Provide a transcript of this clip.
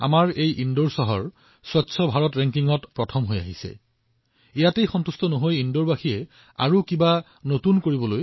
এতিয়া ইন্দোৰৰ লোকসকলে স্বচ্ছ ভাৰতৰ এই ৰেংকিঙত সন্তুষ্ট হৈ বহিব নিবিচাৰে তেওঁলোকে আগবাঢ়িব বিচাৰে তেওঁলোকে কিবা নতুন কৰিব বিচাৰে